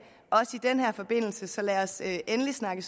også i den her forbindelse så lad os endelig snakke